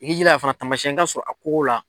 I k'i jilaja fana taamasiyɛn ka sɔrɔ a kogo la.